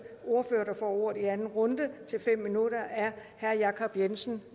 ordfører der får ordet i anden runde til fem minutter er herre jacob jensen